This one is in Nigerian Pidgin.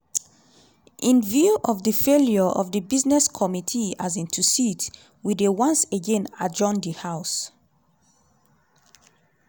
in view of di failure of di business committee um to sit…we dey once again adjourn di house.